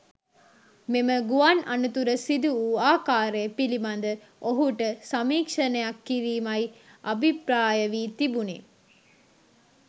මෙම ගුවන් අනතුර සිදු වූ ආකාරය පිළිබඳ ඔහුට සමීක්‍ෂණයක් කිරීමයි අභිප්‍රාය වී තිබුණේ.